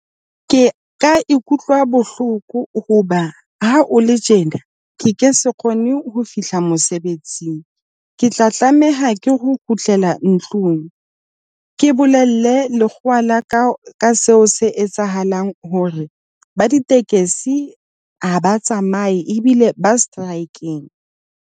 Ke ka ikutlwa bohloko hoba ha o le tjena ke ke se kgone ho fihla mosebetsing, ke tla tlameha ke ho kgutlela ntlong mme ke bolelle lekgowa la ka ka seo se etsahalang hore ba ditekesi ha ba tsamaye ebile ba strike-ng.